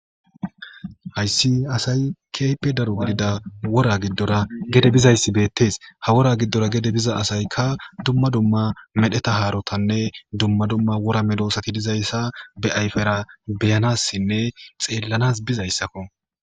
Hayssi asayi kehippe darotida wora giddora gede bizzayisi bettes ha wora giddora gede bizza asayika duma duma medheta harotanne duma duma wora medossati dizayisa be ayiffera be'anasine xellanasi bizayisakko.